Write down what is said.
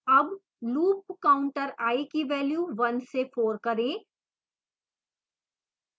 अब loop counter i की value 1 से 4 करें